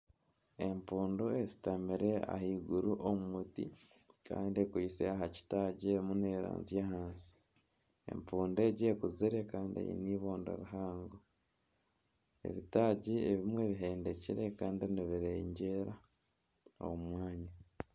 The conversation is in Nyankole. Empundu eshutamire ahaiguru omu muti kandi ekwitse aha kitaagi erimu neeranzya ahansi. Empuundu egi ekuzire kandi eine ibondo rihango. Ebitaagi ebimwe bihendekire kandi nibizereera omu mwanya.